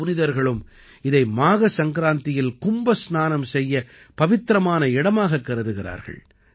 பல புனிதர்களும் இதை மாக சங்கராந்தியில் கும்ப ஸ்நானம் செய்ய பவித்திரமான இடமாகக் கருதுகிறார்கள்